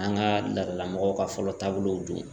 An ka laadala mɔgɔw ka fɔlɔ taabolow don